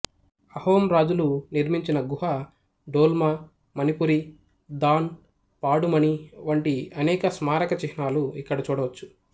అహోం రాజులు నిర్మించిన గుగుహ డోల్ మా మణిపురి దాన్ పాడుమణి వంటి అనేక స్మారక చిహ్నాలు ఇక్కడ చూడవచ్చు